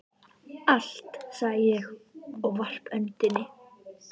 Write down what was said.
Allt, sagði ég og varp öndinni.